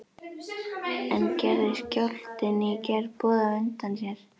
En gerði skjálftinn í gær boð á undan sér?